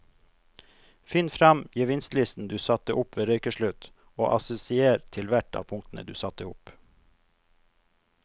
Finn frem gevinstlisten du satte opp ved røykeslutt og assosiér til hvert av punktene du satte opp.